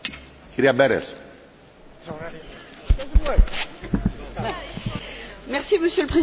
Monsieur le Président, je souhaite simplement demander à la Commission si elle accepte les amendements que le Parlement vient ainsi de voter?